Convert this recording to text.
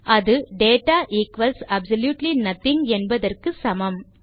அது data equals absolutely nothing என்பதற்கு சமம்